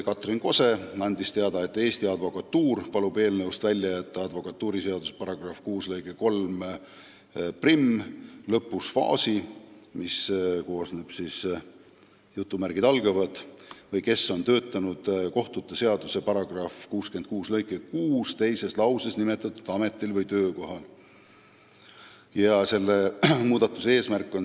Katrin Kose andis teada, et Eesti Advokatuur palub advokatuuriseaduse § 26 lõike 31 lõpust ära jätta fraasi "või kes on töötanud kohtute seaduse § 66 lõike 6 teises lauses nimetatud ameti- või töökohal".